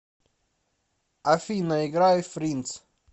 афина играй фриндс